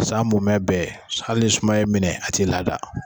San mumɛ bɛɛ hali ni sumaya i minɛ a t'i lada